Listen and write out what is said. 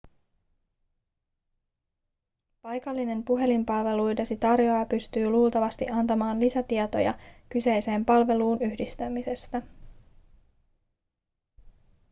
paikallinen puhelinpalveluidesi tarjoaja pystyy luultavasti antamaan lisätietoja kyseiseen palveluun yhdistämisestä